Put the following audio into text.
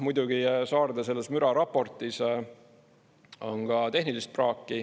Muidugi Saarde müraraportis on ka tehnilist praaki.